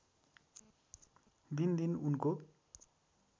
दिनदिन उनको